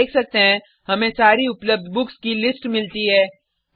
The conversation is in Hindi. हम देख सकते हैं हमें सारी उपलब्ध बुक्स की लिस्ट मिलती है